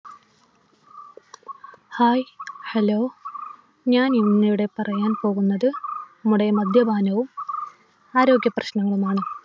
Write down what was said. Hi hello ഞാൻ ഇന്നിവിടെ പറയാൻ പോകുന്നത് നമ്മുടെ മദ്യപാനവും ആരോഗ്യപ്രശ്നങ്ങളുമാണ്.